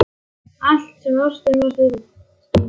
Allt sem ástin má stuðla að.